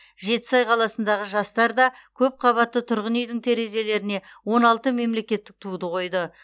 жетісай қаласындағы жастар да көпқабатты тұрғын үйдің терезелеріне он алты мемлекеттік туды қойды